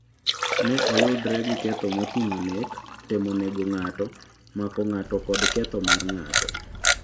Ne oyudre gi ketho moting'o nek, temo nego ng'ato, mako ng'ato kod ketho mar ng'ato.